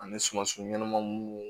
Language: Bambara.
Ani sumansi ɲɛnaman munnu